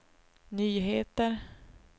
nyheter